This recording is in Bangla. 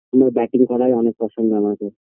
সুধু batting করার অনেক পছোন্দ